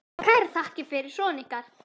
Og kærar þakkir fyrir son ykkar.